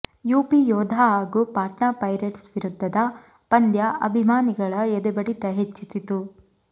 UP Yoddha ಹಾಗೂ Patna Pirates ವಿರುದ್ಧದ ಪಂದ್ಯ ಅಭಿಮಾನಿಗಳ ಎದೆಬಡಿತ ಹೆಚ್ಚಿಸಿತು